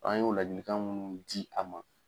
An y'o ladili kan munnu di a ma.